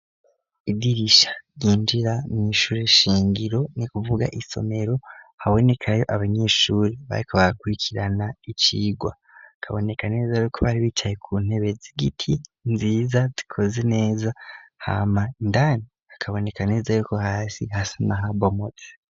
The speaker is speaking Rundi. Idirisha ryinjira mw'ishure shingiro ni kuvuga isomero habonekayo abanyeshure bariko barakurikirana icigwa bikaboneka neza yuko bari bicaye ku ntebe z'igiti nziza zikoze neza hama indani hakaboneka neza yuko hasi hasa n'ahabomotse.